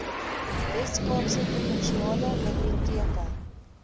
weskaapse provinsiale biblioteke